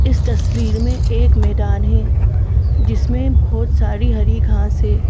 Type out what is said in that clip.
इस तस्वीर में एक मैदान है जिसमें बहुत सारी हरी घास है।